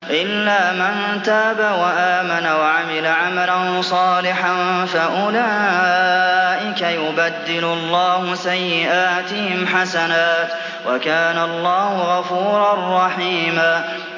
إِلَّا مَن تَابَ وَآمَنَ وَعَمِلَ عَمَلًا صَالِحًا فَأُولَٰئِكَ يُبَدِّلُ اللَّهُ سَيِّئَاتِهِمْ حَسَنَاتٍ ۗ وَكَانَ اللَّهُ غَفُورًا رَّحِيمًا